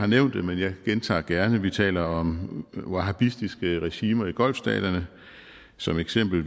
nævnt det men jeg gentager gerne vi taler om wahabistiske regimer i golfstaterne som eksempel